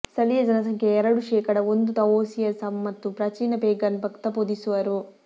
ಸ್ಥಳೀಯ ಜನಸಂಖ್ಯೆಯ ಎರಡು ಶೇಕಡಾ ಒಂದು ತಾವೋಯಿಸಂ ಮತ್ತು ಪ್ರಾಚೀನ ಪೇಗನ್ ಭಕ್ತ ಬೋಧಿಸುವರು